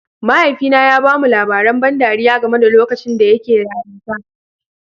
Mahaifina ya ba mu labaran ban ɗariya game da lokacin da yake yarinta